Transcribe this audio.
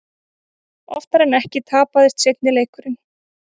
Oftar en ekki tapaðist seinni leikurinn.